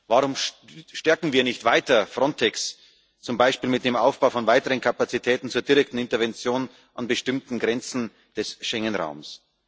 Warum stärken wir nicht weiter Frontex zum Beispiel mit dem Aufbau von weiteren Kapazitäten zur direkten Intervention an bestimmten Grenzen des Schengenraums?